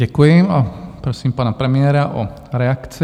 Děkuji a prosím pana premiéra o reakci.